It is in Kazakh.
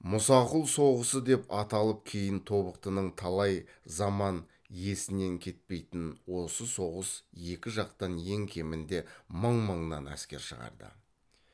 мұсақұл соғысы деп ат алып кейін тобықтының талай заман есінен кетпейтін осы соғыс екі жақтан ең кемінде мың мыңнан әскер шығарды